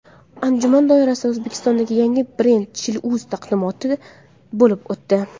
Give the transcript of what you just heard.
Anjuman doirasida O‘zbekistondagi yangi brend ChiliUz taqdimoti bo‘lib o‘tdi.